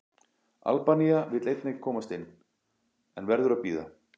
Albanía vill einnig komast inn, en verður að bíða.